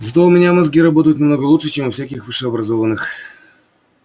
зато у меня мозги работают намного лучше чем у всяких высшеобразованных